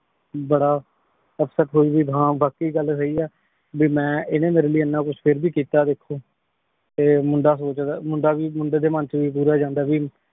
ਬਾਰਾ ਉਪ੍ਸੇਟ ਹੋਈ ਹਾਂ ਵਾਕ਼ਈ ਗਲ ਸਹੀ ਆ ਭੀ ਮੈਂ ਏਨੇ ਮੇਰੀ ਲੈ ਏਨਾ ਕੁਛ ਫੇਰ ਵੀ ਕੀਤਾ ਦੇਖੋ ਤੇ ਮੁੰਡਾ ਸੋਚਦਾ ਮੁੰਡਾ ਵੀ ਮੁੰਡੇ ਦੇ ਮਨ ਚ ਵੀ ਗਰੂਰ ਆ ਜਾਂਦਾ ਹੈ ਭੀ